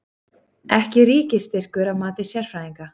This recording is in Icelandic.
Ekki ríkisstyrkur að mati sérfræðinga